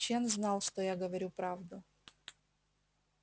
чен знал что я говорю правду